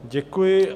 Děkuji.